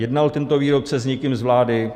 Jednal tento výrobce s někým z vlády?